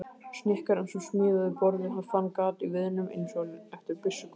Snikkarinn sem smíðaði borðið fann gat í viðnum- einsog eftir byssukúlu.